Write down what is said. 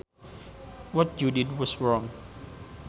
What you did was wrong